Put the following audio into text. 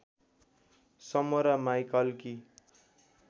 समोरा माईकलकी